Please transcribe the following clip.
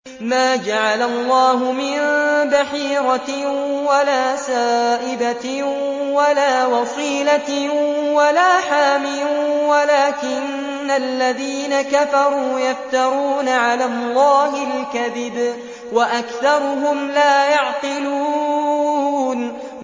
مَا جَعَلَ اللَّهُ مِن بَحِيرَةٍ وَلَا سَائِبَةٍ وَلَا وَصِيلَةٍ وَلَا حَامٍ ۙ وَلَٰكِنَّ الَّذِينَ كَفَرُوا يَفْتَرُونَ عَلَى اللَّهِ الْكَذِبَ ۖ وَأَكْثَرُهُمْ لَا يَعْقِلُونَ